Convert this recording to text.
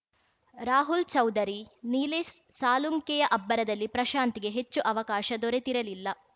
ರಾಹುಲ್‌ ಚೌಧರಿ ನಿಲೇಶ್‌ ಸಾಳುಂಕೆಯ ಅಬ್ಬರದಲ್ಲಿ ಪ್ರಶಾಂತ್‌ಗೆ ಹೆಚ್ಚು ಅವಕಾಶ ದೊರೆತಿರಲಿಲ್ಲ